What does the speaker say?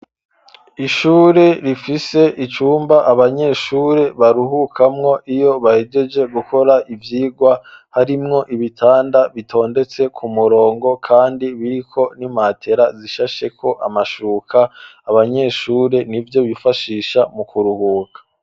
Ishuri rifise icumba abanyeshuri baruhukamwo iyo bahejeje gukora ivyigwa harimwo ibitanda bitondetse ku murongo kandi biriko n'imatera zishasheko amashuka abanyeshuri nivyo bifashisha mu kuruhuka.